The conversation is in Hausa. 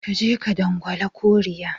Ka je ka dangwala kuri'a